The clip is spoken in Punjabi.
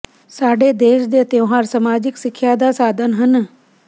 ਸਾਡੇ ਦੇਸ਼ ਦੇ ਤਿਉਹਾਰ ਸਮਾਜਿਕ ਸਿੱਖਿਆ ਦਾ ਸਾਧਨ ਹਨ ੍ਹ